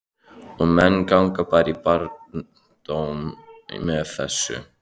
Og menn ganga bara í barndóm með þessu?